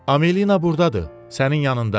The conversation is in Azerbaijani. Amelina burdadır, sənin yanında.